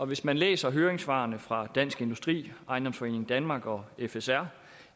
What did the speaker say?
hvis man læser høringssvarene fra dansk industri ejendomsforeningen danmark og fsr